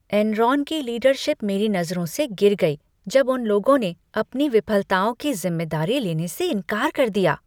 Enron की leadership मेरी नज़रों से गिर गई जब उन लोगों ने अपनी विफलताओं की जिम्मेदारी लेने से इनकार कर दिया।